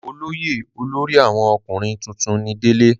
olóyè olórí àwọn ọkùnrin tuntun ni délé